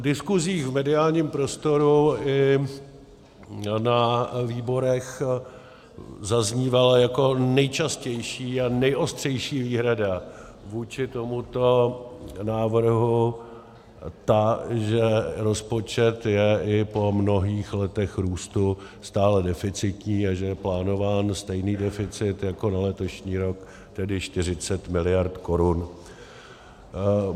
V diskusích v mediálním prostoru i na výborech zaznívala jako nejčastější a nejostřejší výhrada vůči tomuto návrhu ta, že rozpočet je i po mnohých letech růstu stále deficitní a že je plánován stejný deficit jako na letošní rok, tedy 40 mld. korun.